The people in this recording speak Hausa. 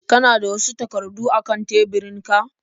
Kana da wasu takardu a kan teburinku?